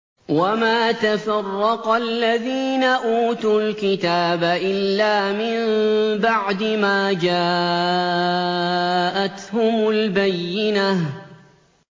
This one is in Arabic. وَمَا تَفَرَّقَ الَّذِينَ أُوتُوا الْكِتَابَ إِلَّا مِن بَعْدِ مَا جَاءَتْهُمُ الْبَيِّنَةُ